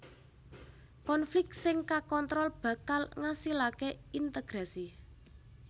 Konflik sing kakontrol bakal ngasilaké integrasi